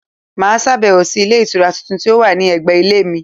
Mà á sàbẹ̀wò sí Ilé Ìtura tuntun tí ó wà ní ẹ̀gbẹ̀ Ilé mi